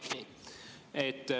Nii.